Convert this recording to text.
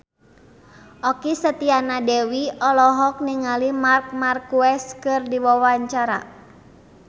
Okky Setiana Dewi olohok ningali Marc Marquez keur diwawancara